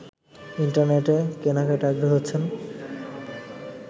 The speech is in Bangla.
ইন্টারনেটে কেনাকাটায় আগ্রহী হচ্ছেন